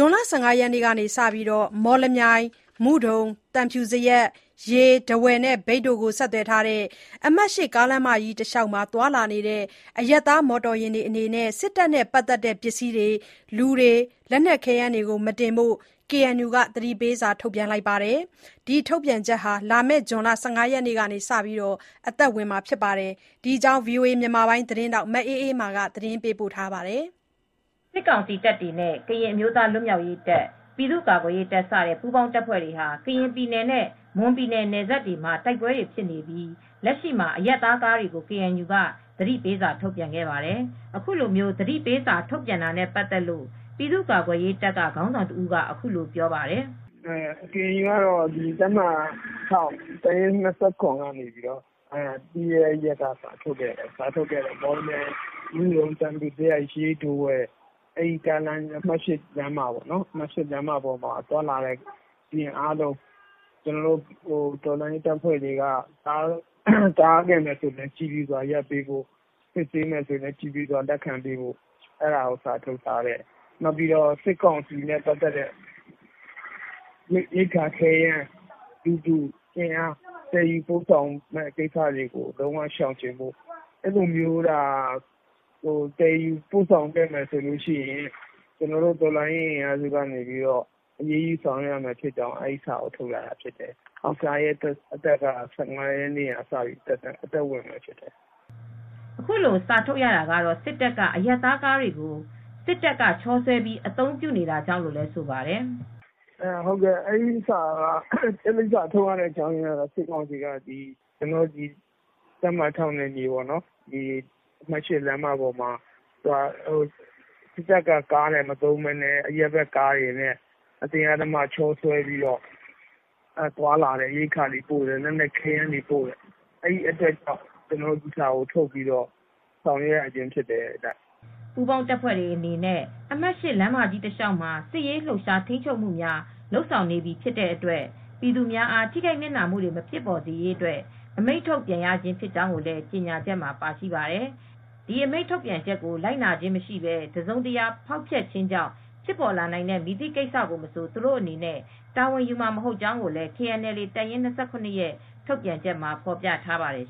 ွန်လ ၁၅ရက်နေ့မှ စပြီး မော်လမြိုင်၊ မုဒုံ၊ သံဖြူဇရပ်၊ ရေး၊ ထားဝယ်၊ မြိတ်တို့ကို ဆက်သွယ်ထားတဲ့ အမှတ် ကားလမ်းမကြီး တလျှောက်မှာ သွားလာနေတဲ့ အရပ်သား မော်တော်ယာဉ်တွေအနေနဲ့ စစ်တပ်နဲ့ ပတ်သက်တဲ့ပစ္စည်းတွေ၊ လူတွေ၊ ခဲယမ်းတွေ မတင်ဖို့ KNU က သတိပေးစာ ထုတ်ထားပါတယ်။ ဒီထုတ်ပြန်ချက်ဟာ လာမယ့် ဇွန်လ ၁၅ ရက်နေ့ကစပြီး အသက်ဝင်မှာ ဖြစ်ပါတယ်။ ဒီအကြောင်း ဗွီအိုအေသတင်းထောက် မအေးအေးမာက သတင်းပေးပို့ထားပါတယ် ။ စစ်ကောင်စီတပ်တွေနဲ့ ကရင်အမျိုးသားလွတ်မြောက်ရေးတပ်၊ ပြည်သူကာကွယ်ရေးတပ် စတဲ့ ပူးပေါင်းတပ်ဖွဲ့တွေဟာ ကရင်ပြည်နယ်နဲ့ မွန်ပြည်နယ် နယ်စပ်တွေမှာ တိုက်ပွဲတွေဖြစ်နေပြီး လက်ရှိမှာ အရပ်သားကားတွေကို ကေအန်ယူက သတိပေးစာ ထုတ်ပြန်ခဲ့ပါတယ်။ အခုလို သတိပေးစာ ထုတ်ပြန်တာနဲ့ပတ်သက်လို့ ပြည်သူကာကွယ်ရေးတပ်က ခေါင်းဆောင်တဦးက အခုလိုပြောပြပါတယ်။ “ကေအန်ယူက တပ်မဟာ ၊ တပ်ရင်း ကနေပြီးတော့ ပြီခဲ့တဲ့ရက်က စာထုတ်ခဲ့တာကတော့ မော်လမြိုင်၊ မုဒုံ၊ သံဖြူဇရပ်၊ ရေး၊ ထားဝယ် အမှတ် လမ်းမပေါ်မှာ သွားလာနေတဲ့ယာဉ်အားလုံး ကျနော်တို့ တော်လှန်ရေးအဖွဲ့အစည်းတွေက တားဆီးရင် ကြည်ဖြူစွာရပ်ပေးဖို့၊ စစ်ဆေးမယ်ဆိုရင်လည်း ကြည်ဖြူစွာ လက်ခံပေးဖို့၊ စစ်ကောင်စီနဲ့ပတ်သက်လို့ ရိက္ခာ၊ ခဲယမ်း၊ လူသူအင်အား အားလုံးကို သယ်ယူပို့ဆောင်တာ ရှောင်ကျဉ်ဖို့၊ အဲဒီလိုမျိုး သယ်ယူပို့ဆောင်ခဲ့မယ်ဆိုရင် ကျနော်တို့ တော်လှန်ရေးအင်အားစုက အရေးယူမယ်ဆိုတဲ့အကြောင်း စာထုတ်ထားတယ်။ အဲဒီစာက ဇွန် ၁၅ ရက်နေ့ကစပြီး အသက်ဝင်မယ်လို့ ပြောထားပါတယ်။” အခုလိုစာထုတ်ရတာကတော့ စစ်တပ်က အရပ်သားကားတွေကို စစ်တပ်ကချောဆွဲပြီး အသုံးပြုနေတာကြောင့်လို့လဲ ဆိုပါတယ်။ “အဲဒီစာထုတ်ရတဲ့အကြောင်းက စစ်ကောင်စီက တပ်မဟာ နယ်မြေ၊ အမှတ် လမ်းမပေါ်မှာ စစ်တပ်ကားမသုံးပဲ အရပ်ဘက် ကားတွေကို ချောဆွဲပြီးသွားလာတာ၊ ရိက္ခာပို့တာ၊ လက်နက်ခဲယမ်းတွေပို့တာဖြစ်လို့ အဲဒီအတွက်ကြောင့် ကျနော်တို့စာထုတ်ပြီး ကြေညာရတာ ဖြစ်ပါတယ်။” ပူးပေါင်းတပ်ဖွဲ့တွေအနေနဲ့ အမှတ် လမ်းမကြီးတစ်လျှောက်မှာ စစ်ရေး လှုပ်ရှား ထိန်းချုပ်မှုများ လုပ်ဆောင်နေပြီးဖြစ်တဲ့အတွက် ပြည်သူများအား ထိခိုက်နစ်နာမှုတွေ မဖြစ်ပေါ်စေရန်အတွက် အမိန့်ထုတ်ပြန်ရခြင်းဖြစ်ကြောင်းလည်း ကြေငြာချက်မှာ ပါရှိပါတယ်။ ဒီအမိန့်ထုတ်ပြန်ချက်ကို လိုက်နာခြင်းမရှိပဲ တစုံတရာ ဖောက်ဖျက်ခြင်းကြောင့် ဖြစ်ပေါ်လာနိုင်တဲ့ မည်သည့်ကိစ္စမဆို သူတို့အနေနဲ့ တာဝန်ယူမှာ မဟုတ်ကြောင်း ကိုလည်း KNLA တပ်ရင်း ၂၇ ထုတ်ပြန်ချက်မှာ ဖော်ပြထားပါတယ်